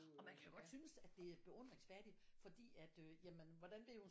Og man kan jo godt synes at det er beundringsværdigt fordi at øh hvordan ved hun